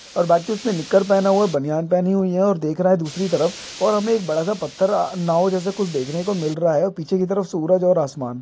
और बाकि उसने निक्कर पहना हुआ है बनियान पहनी हुई है और देख रहा है दूसरी तरफ और हमें एक बडा सा पत्थर आ नाव जैसा कुछ देखने को मिल रहा है और पीछे की तरफ सूरज और आसमान।